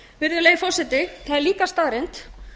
virðulegi forseti það er líka staðreynd